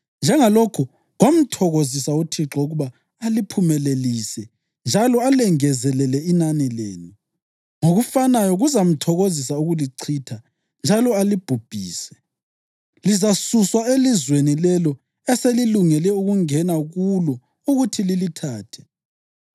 Njengalokho kwamthokozisa uThixo ukuba aliphumelelise njalo alengezelele inani lenu, ngokufanayo kuzamthokozisa ukulichitha njalo alibhubhise. Lizasuswa elizweni lelo eselilungele ukungena kulo ukuthi lilithathe.